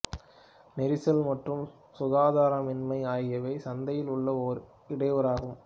நெரிசல் மற்றும் சுகாதாரமின்மை ஆகியவை சந்தையில் உள்ள ஒரே இடையூறாகும்